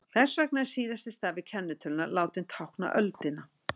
þess vegna er síðasti stafur kennitölunnar látinn tákna öldina